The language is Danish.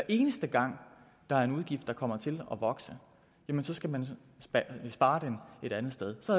eneste gang der er en udgift der kommer til at vokse jamen så skal man spare den et andet sted så